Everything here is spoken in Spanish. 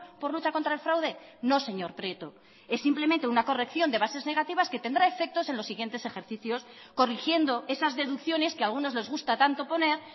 por lucha contra el fraude no señor prieto es simplemente una corrección de bases negativas que tendrá efectos en los siguientes ejercicios corrigiendo esas deducciones que a algunos les gusta tanto poner